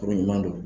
Kuru ɲuman don